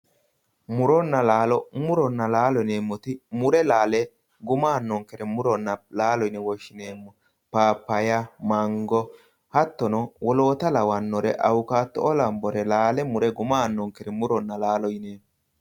Murona laalo murona laalo yineemoti mure laale gumma aanonkere murona laalo yine woshineemo papaya mango hattono woloota lawanore awukatoo lawanore laale mure guma aanonkere murona laalo yineemo.